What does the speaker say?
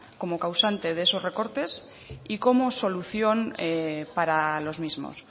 como causante de esos recortes y como solución para los mismos